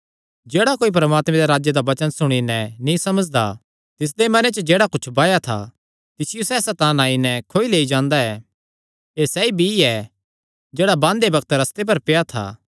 जेह्ड़ा कोई परमात्मे दे राज्जे दा वचन सुणी नैं नीं समझदा तिसदे मने च जेह्ड़ा कुच्छ बाया था तिसियो सैह़ सैतान आई नैं खोई लेई जांदा ऐ एह़ सैई ऐ जेह्ड़ा रस्ते कंडे बाया था